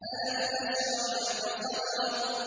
أَلَمْ نَشْرَحْ لَكَ صَدْرَكَ